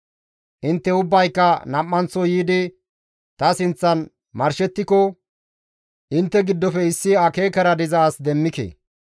«Intte ubbayka nam7anththo yiidi ta sinththan marshettiko; intte giddofe issi akeekara diza as demmike.